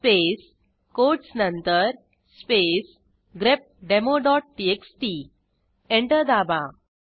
space quotes नंतर space grepdemoटीएक्सटी enter दाबा